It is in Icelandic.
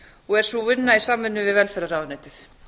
og er sú vinna í samvinnu við velferðarráðuneytið